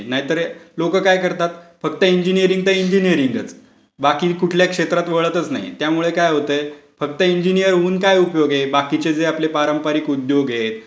नाहीतर लोकं काय करतात, फक्त इंजीनीरिंग तर इंजीनीरिंगच. बाकी कुठल्या क्षेत्रात वळतच नाहीत. त्यामुळे काय होतय फक्त इंजीनियर होऊन काय उपयोग आहे? बाकीचे जे आपले पारंपरिक उद्योग आहेत,